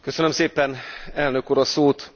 Köszönöm szépen, Elnök Úr, a szót!